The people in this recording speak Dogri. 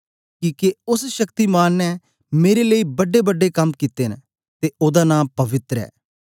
किके ओस शक्तिमान ने मेरे लेई बड़ेबड़े कम कित्ते न ते ओदा नां पवित्र ऐ